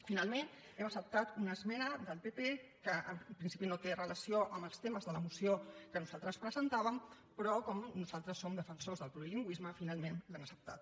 finalment hem acceptat una esmena del pp que en principi no té relació amb els temes de la moció que nosaltres presentàvem però com nosaltres som defensors del plurilingüisme finalment l’hem acceptat